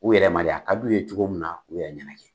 U yɛrɛ ma de a ka d'u ye cogo min na, u yɛrɛ ma.